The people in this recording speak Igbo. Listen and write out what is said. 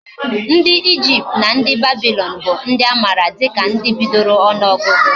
Ndi Egypt na ndi Babylon bu ndi amara dika ndi bidoro onuogugu